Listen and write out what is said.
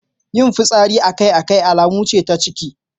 Yin fitsari akai-akai alama ce ta ciki.